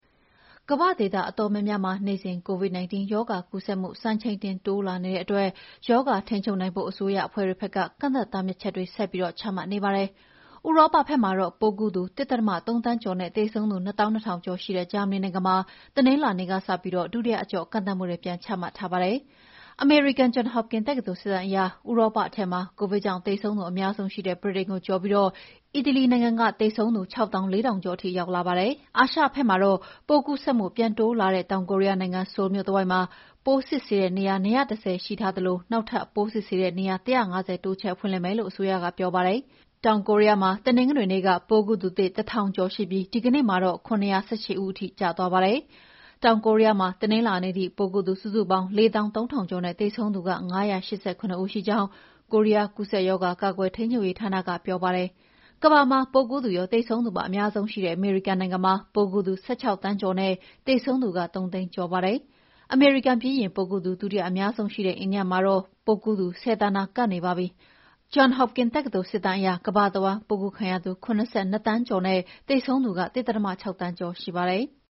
ကမ္ဘာ့ဒေသအတော်များများမှာ နေ့စဉ် COVID-19 ရောဂါကူးစက်မှု စံချိန်တင်တိုးလာနေတဲ့အတွက် ရောဂါထိန်းချုပ်နိုင်ဖို့ အစိုးရအဖွဲ့တွေဘက်က ကန့်သတ်တားမြစ်ချက်တွေဆက်ပြီးချမှတ်နေရပါတယ်။ ဥရောပဘက်မှာတော့ ပိုးကူးသူ ၁.၃ သန်းကျော်နဲ့ သေဆုံးသူ ၂၂,၀၀၀ ကျော်ရှိ ဂျာမဏီနိုင်ငံမှာ တနင်္လာနေ့ကစပြီး ဒုတိယအကျော့ ကန့်သတ်မှုတွေ ပြန်ချမှတ်ထားပါတယ်။ အမေရိကန် John Hopkins တက္ကသိုလ်စစ်တမ်းအရ ဥရောပထဲမှာ ကိုဗစ်ကြောင့်သေဆုံးသူအများဆုံးရှိတဲ့ ဗြိတိန်နိုင်ငံကိုကျော်ပြီး အီတလီနိုင်ငံက သေဆုံးသူ ၆၄,၀၀၀ ကျော်ထိရှိလာပါတယ်။ အာရှဘက်မှာတော့ ပိုးကူးစက်မှု ပြန်တိုးလာတဲ့ တောင်ကိုရီးယားနိုင်ငံ ဆိုးလ်မြို့တဝိုက်မှာ ပိုးစစ်ဆေးတဲ့နေရာ ၂၁၀ ရှိထားသလို နောက်ထပ်ပိုးစစ်ဆေးတဲ့နေရာ ၁၅၀ တိုးချဲ့ဖွင့်လှစ်မယ်လို့အစိုးရက ပြောပါတယ်။ တောင်ကိုရီးယားမှာ တနင်္ဂနွေနေ့က ပိုးကူးသူသစ် ၁,၀၀၀ ကျော်ရှိပြီး ဒီကနေ့မှာတော့ ၇၁၈ ဦးရှိပါတယ်။ တောင်ကိုရီးယားမှာ တနင်္လာနေ့ထိ ပိုးကူးသူစုစုပေါင်း ၄၃,၀၀၀ ကျော်နဲ့ သေဆုံးသူ ၅၈၇ ဦးရှိကြောင်း ကိုရီးယားကူးစက်ရောဂါ ကာကွယ်ထိန်းချုပ်ရေးဌာနကပြောပါတယ်။ ကမ္ဘာမှာ ပိုးကူးသူရော၊ သေဆုံးသူပါ အများဆုံးရှိတဲ့ အမေရိကန်နိုင်ငံမှာ ပိုးကူးသူ ၁၆ သန်းကျော်နဲ့ သေဆုံးသူက ၃၀၀,၀၀၀ ကျော်ပါပြီ။ အမေရိကန်ပြီးရင်ပိုးကူးသူ ဒုတိယအများဆုံးရှိတဲ့ အိန္ဒိယမှာတော့ ပိုးကူးသူ ၁၀ သန်းနား ကပ်နေပါပြီ။ အမေရိကန် John Hopkins တက္ကသိုလ်စစ်တမ်းအရ ကမ္ဘာတဝန်း ပိုးကူးခံရသူ ၇၂ သန်းကျော်နဲ့ သေဆုံးသူ ၁.၆ သန်းကျော်ရှိပါတယ်။